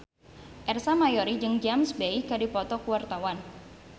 Ersa Mayori jeung James Bay keur dipoto ku wartawan